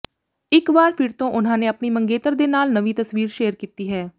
ਇੱਕ ਵਾਰ ਫਿਰ ਤੋਂ ਉਨ੍ਹਾਂ ਨੇ ਆਪਣੀ ਮੰਗੇਤਰ ਦੇ ਨਾਲ ਨਵੀਂ ਤਸਵੀਰ ਸ਼ੇਅਰ ਕੀਤੀ ਹੈ